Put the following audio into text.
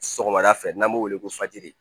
Sɔgɔmada fɛ n'an b'o wele ko